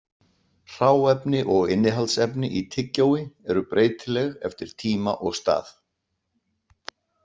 Hráefni og innihaldsefni í tyggjói eru breytileg eftir tíma og stað.